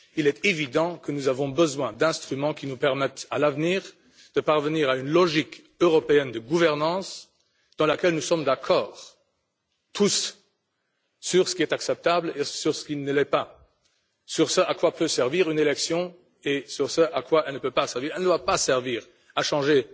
Il est évident que nous avons besoin d'instruments qui nous permettront à l'avenir de parvenir à une logique européenne de gouvernance dans laquelle nous sommes tous d'accord sur ce qui est acceptable et sur ce qui ne l'est pas, sur ce à quoi peut servir une élection et sur ce à quoi elle ne peut pas servir. Elle ne doit pas servir à changer